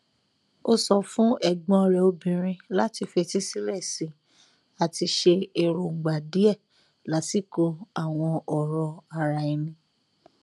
ó sọ fún ẹgbọn rẹ obìnrin láti fetísílẹ sí i àti ṣe èròngbà díẹ lásìkò àwọn ọrọ ara ẹni